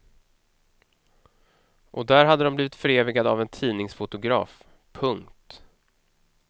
Och där hade de blivit förevigade av en tidningsfotograf. punkt